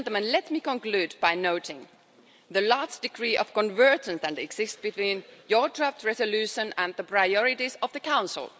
Let me conclude by noting the large degree of convergence that exists between your draft resolution and the priorities of the Council.